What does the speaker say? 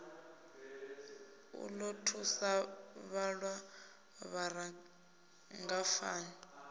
u ḓo thusa vhaṅwe vharangaphan